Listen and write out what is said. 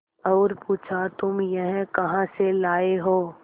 और पुछा तुम यह कहा से लाये हो